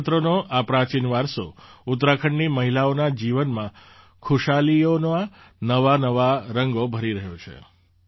ભોજપત્રનો આ પ્રાચીન વારસો ઉત્તરાખંડની મહિલાઓના જીવનમાં ખુશાલીઓના નવાનવા રંગો ભરી રહ્યો છે